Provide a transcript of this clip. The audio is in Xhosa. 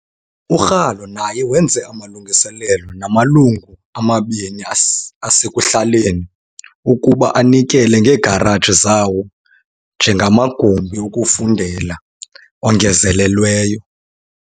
URalo naye wenze amalungiselelo namalungu amabini asekuhlaleni ukuba anikele ngeegaraji zawo njengamagumbi okufundela ongezelelweyo.